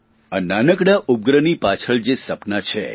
આ નાનકડા ઉપગ્રહની પાછળ જે સપનાં છે